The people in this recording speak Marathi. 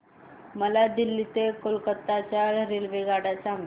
मला दिल्ली ते कोलकता च्या रेल्वेगाड्या सांगा